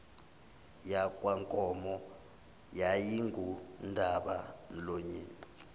yakwankomo yayingundaba mlonyeni